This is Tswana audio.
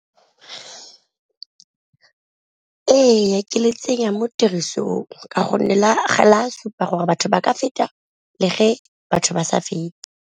Ee, ke le tsenya mo tirisong ka gonne la supa gore batho ba feta le fa batho ba sa fete.